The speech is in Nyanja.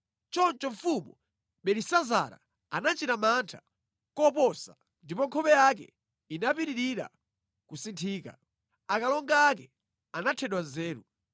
Choncho mfumu Belisazara anachita mantha koposa ndipo nkhope yake inapitirira kusinthika. Akalonga ake anathedwa nzeru.